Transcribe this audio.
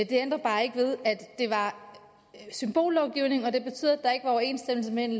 det ændrer bare ikke ved at det var symbollovgivning og det betød at der ikke var overensstemmelse mellem